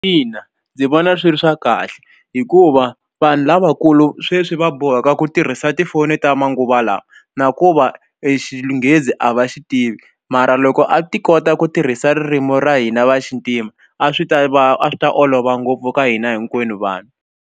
Ina ndzi vona swi ri swa kahle hikuva vanhu lavakulu sweswi va boheka ku tirhisa tifoni ta manguva lawa na ku va e Xinghezi a va xi tivi mara loko a ti kota ku tirhisa ririmi ra hina va xintima a swi ta va a swi ta olova ngopfu ka hina hinkwenu vanhu.